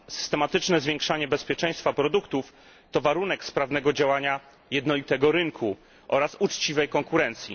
Systematyczne zwiększanie bezpieczeństwa produktów to warunek sprawnego działania jednolitego rynku oraz uczciwej konkurencji.